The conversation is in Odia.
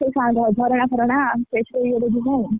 ସେ ସାଙ୍ଗ ଝରଣା ଫରଣା କେତେ ଇଏରେ ଯିବୁ।